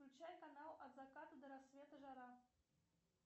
включай канал от заката до рассвета жара